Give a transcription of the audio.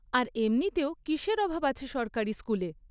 আর এমনিতেও কীসের অভাব আছে সরকারি স্কুলে?